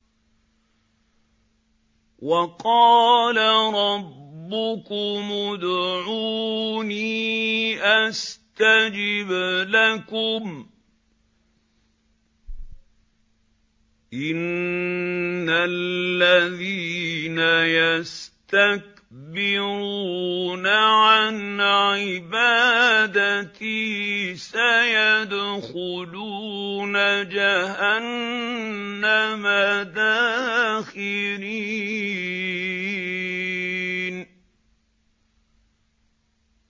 وَقَالَ رَبُّكُمُ ادْعُونِي أَسْتَجِبْ لَكُمْ ۚ إِنَّ الَّذِينَ يَسْتَكْبِرُونَ عَنْ عِبَادَتِي سَيَدْخُلُونَ جَهَنَّمَ دَاخِرِينَ